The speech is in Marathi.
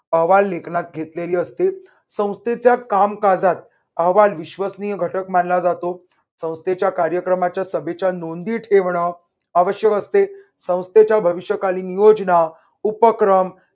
अहवाल लेखनात घेतलेली असते. संस्थेच्या कामकाजात अहवाल विश्वसनीय घटक मानला जातो. संस्थेच्या कार्यक्रमाच्या सभेच्या नोंदी ठेवणं आवश्यक असते. संस्थेच्या भविष्यकालीन योजना, उपक्रम